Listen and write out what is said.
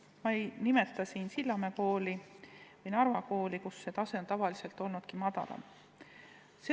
Ma ei nimeta siin Sillamäe ja Narva kooli, kus see tase on ennegi olnudki madalam.